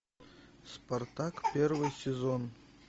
спартак первый сезон